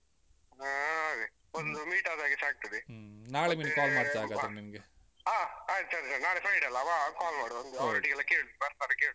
ಹಾ ಅದೇ ಒಂದು meet ಆದ ಹಾಗೇಸ ಆಗ್ತದೆ ಹಾ ಆಯ್ತು ಸರಿ ಸರಿ ನಾಳೆ friday ಅಲ್ಲಾ? ವಾಗ call ಮಾಡು ಒಂದು ಅವರೊಟ್ಟಿಗೆಲ್ಲ ಕೇಳು ಒಂದ್ಸಾರಿ ಕೇಳು.